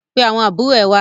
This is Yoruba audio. Pe àwọn àbúrò ẹ wá!